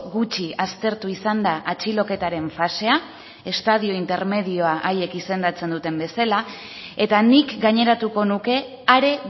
gutxi aztertu izan da atxiloketaren fasea estadio intermedioa haiek izendatzen duten bezala eta nik gaineratuko nuke are